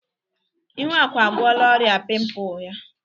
Ihuaku agwọla ọria pimpụ ya.